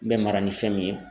Bɛ mara ni fɛn min ye.